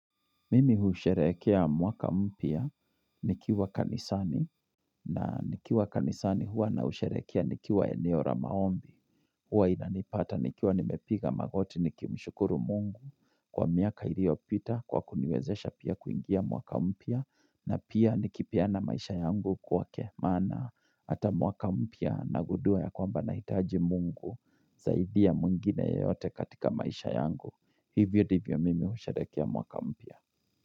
Mimi husherekea mwaka mpya nikiwa kanisani na nikiwa kanisani huwa na husherekea nikiwa eneo ya maombi. Huwa inanipata nikiwa nimepiga magoti nikimshukuru mungu kwa miaka ilio pita kwa kuniwezesha pia kuingia mwaka mpya na pia nikipeana maisha yangu kwake maana ata mwaka mpya na gundua ya kwamba nahitaji mungu zaidia ya mwingine yote katika maisha yangu. Hivyo ndivyo mimi husherekea mwaka mpya.